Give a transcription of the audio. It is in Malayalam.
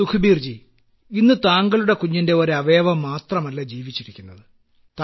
സുഖ്ബീർ ജി ഇന്ന് താങ്കളുടെ കുഞ്ഞിന്റെ ഒരു അവയവം മാത്രമല്ല ജീവിച്ചിരിക്കുന്നത്